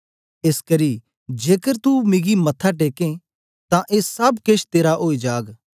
एसकरी जेकर तू मिगी मत्था टेकें तां ए सब केश तेरा ओई जाग